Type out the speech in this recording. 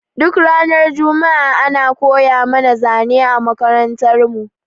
Duk ranar juma'a ana koya mana zane a makarantar mu